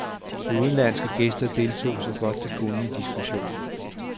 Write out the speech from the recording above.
De udenlandske gæster deltog så godt de kunne i diskussionen.